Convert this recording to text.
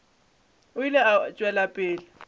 o ile a tšwela pele